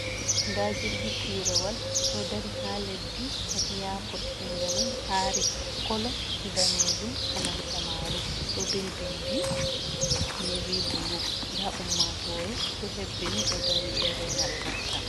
Nda jirgi pirowal ɗo dari ha leddi ha iyapot, inde mai ari, kolo danejum e nanta maru ɗo be bindi nevi bulu, nda ummatore ɗo hebbini ɗo dari ɓeɗo rena ɓe nasta.